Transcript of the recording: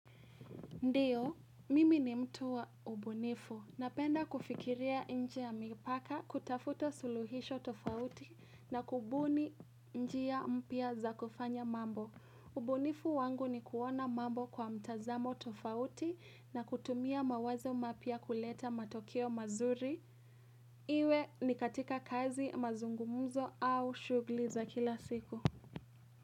Ndiyo, mimi ni mtu wa ubunifu. Napenda kufikiria nje ya mipaka, kutafuta suluhisho tofauti na kubuni njia ya mpya za kufanya mambo. Ubunifu wangu ni kuona mambo kwa mtazamo tofauti na kutumia mawazo mapya kuleta matokeo mazuri. Iwe ni katika kazi mazungumzo au shughuli za kila siku.